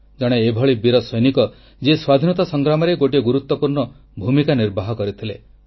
ଜଣେ ଏଭଳି ବୀର ସୈନିକ ଯିଏ ସ୍ୱାଧୀନତା ସଂଗ୍ରାମରେ ଗୋଟିଏ ଗୁରୁତ୍ୱପୂର୍ଣ୍ଣ ଭୂମିକା ନିର୍ବାହ କରିଥିଲେ